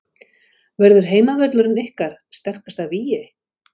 Verður heimavöllurinn ykkar sterkasta vígi?